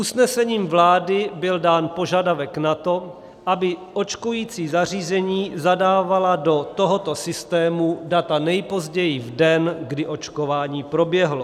Usnesením vlády byl dán požadavek na to, aby očkující zařízení zadávala do tohoto systému data nejpozději v den, kdy očkování proběhlo.